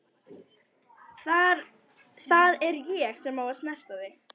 Það er ég sem á að snerta þig.